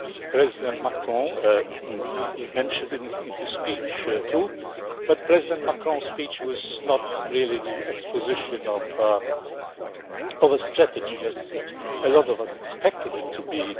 President Macron mentioned it in his speech too, but President Macron's speech was not really the exposition of a strategy as a lot of us expected it to be.